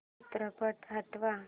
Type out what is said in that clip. चित्रपट हटव